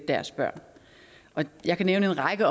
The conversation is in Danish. deres børn jeg kan nævne en række